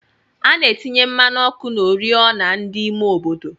Ana atinye mmanụ ọkụ na ori ọna ndi ime obodo.